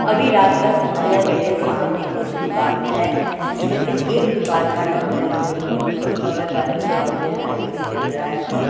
अभी रात का समय है मेरे सामने कुछ दुकान है जिसमें से एक दुकान का नाम है गोकुल उसके बगल वाले दुकान में लाइट भी जल रहा है और--